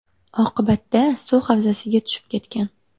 Oqibatda suv havzasiga tushib ketgan.